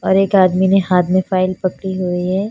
और एक आदमी ने हाथ में फाइल पकड़ी हुई है।